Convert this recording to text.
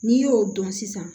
N'i y'o dɔn sisan